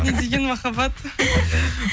не деген махаббат